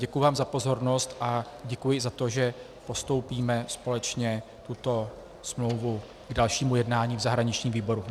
Děkuji vám za pozornost a děkuji za to, že postoupíme společně tuto smlouvu k dalšímu jednání v zahraničním výboru.